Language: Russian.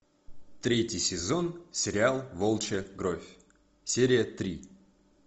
третий сезон сериал волчья кровь серия три